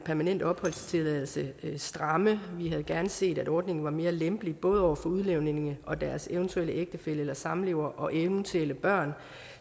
permanent opholdstilladelse stramme vi havde gerne set at ordningen var mere lempelig både over for udlændingene og deres eventuelle ægtefæller eller samlevere og eventuelle børn